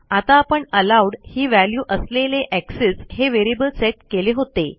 आता आपण एलोव्ड ही व्हॅल्यू असलेले एक्सेस हे व्हेरिएबल सेट केले होते